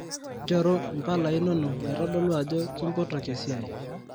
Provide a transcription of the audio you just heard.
nchooru mpalai inono naitodolu ajo kimpotoki esiai